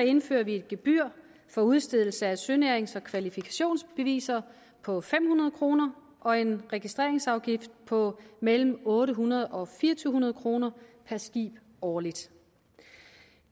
indfører vi et gebyr for udstedelse af sønærings og kvalifikationsbeviser på fem hundrede kroner og en registreringsafgift på mellem otte hundrede og fire hundrede kroner per skib årligt